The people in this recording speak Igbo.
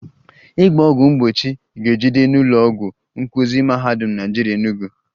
Ịgba ọgwụ mgbochi ga-ejide n'ụlọ ọgwụ nkuzi Mahadum Naịjirịa Enugu